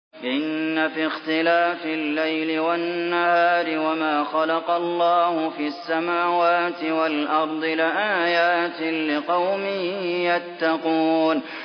إِنَّ فِي اخْتِلَافِ اللَّيْلِ وَالنَّهَارِ وَمَا خَلَقَ اللَّهُ فِي السَّمَاوَاتِ وَالْأَرْضِ لَآيَاتٍ لِّقَوْمٍ يَتَّقُونَ